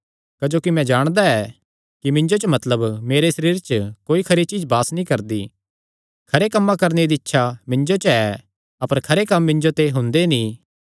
क्जोकि मैं जाणदा ऐ कि मिन्जो च मतलब मेरे सरीरे च कोई खरी चीज्ज वास नीं करदी खरे कम्मां करणे दी तां इच्छा मिन्जो च ऐ अपर खरे कम्म मिन्जो ते हुंदे नीं